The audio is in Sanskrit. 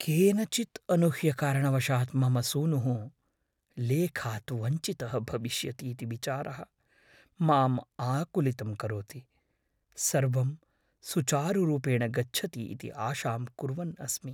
केनचित् अनूह्यकारणवशात् मम सूनुः लेखात् वञ्चितः भविष्यति इति विचारः मां आकुलितं करोति, सर्वं सुचारुरूपेण गच्छति इति आशां कुर्वन् अस्मि।